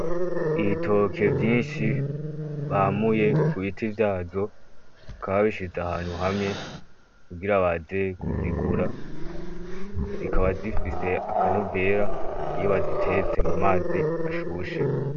Ibitoke vyinshi bamuye ku biti vyazo, bakaba babishize ahantu hamwe kugira baze kuzigura, zikaba zifise akanovera iyo bazitetse mu mazi ashushe.